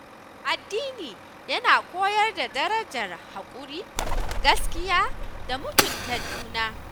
Addini yana koyar da darajar haƙuri, gaskiya, da mutunta juna.